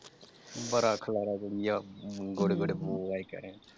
ਬੜਾ ਖਲਾਰਾ ਅਮ ਗੋਡੇ ਗੋਡੇ ਬੋ ਆਈ ।